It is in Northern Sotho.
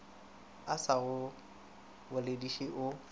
a sa go bolediše o